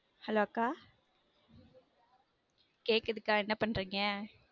hello அக்கா நிவி கேக்குதா? கேக்குதுக்கா என்ன பண்றீங்க